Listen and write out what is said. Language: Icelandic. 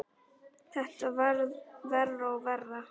Þetta varð verra og verra.